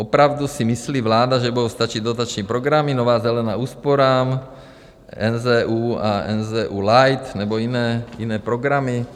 Opravdu si myslí vláda, že budou stačit dotační programy, Nová zelená úsporám, NZÚ a NZÚ Light, nebo jiné programy?